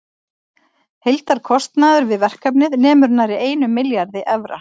Heildarkostnaður við verkefnið nemur nærri einum milljarði evra.